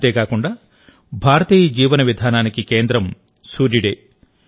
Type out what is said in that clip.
అంతే కాకుండా భారతీయ జీవన విధానానికి కేంద్రం సూర్యుడే